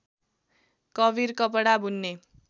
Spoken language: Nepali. कवीर कपडा बुन्ने